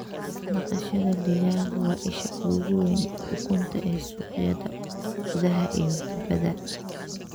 Dhaqashada digaaggu waa isha ugu weyn ee ukunta ee suuqyada gudaha iyo dibadda.